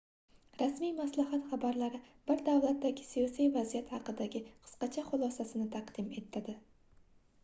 rasmiy maslahat xabarlari bir davlatdagi siyosiy vaziyat haqidagi qisqacha xulosasisini taqdim etadi